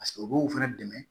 u b'o fɛnɛ dɛmɛ